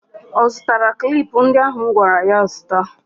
Ọ zụtara klip ndị ahụ m gwara ya zụta?